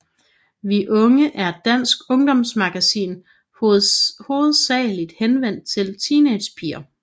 Vi Unge er et dansk ungdomsmagasin hovedsageligt henvendt til teenagepiger